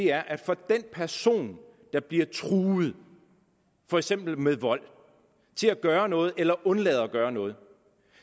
er for den person der bliver truet for eksempel med vold til at gøre noget eller undlade at gøre noget